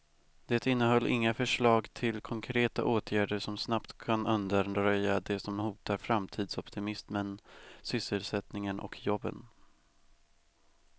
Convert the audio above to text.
Det innehöll inga förslag till konkreta åtgärder som snabbt kan undanröja det som hotar framtidsoptimismen, sysselsättningen och jobben.